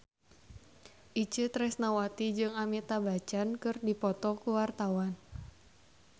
Itje Tresnawati jeung Amitabh Bachchan keur dipoto ku wartawan